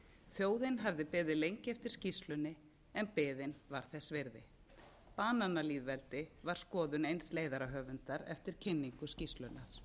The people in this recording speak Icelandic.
þjóðin hafði beðið lengi eftir skýrslunni en biðin var þess virði bananalýðveldi var skoðun eins leiðarahöfundar eftir kynningu skýrslunnar